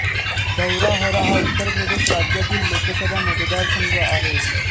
धौराहरा हा उत्तर प्रदेश राज्यातील लोकसभा मतदारसंघ आहे